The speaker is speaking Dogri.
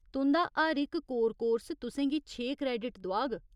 तुं'दा हर इक कोर कोर्स तुसें गी छे क्रेडिट दोआग।